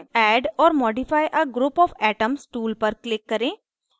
add or modify a group of atoms tool पर click करें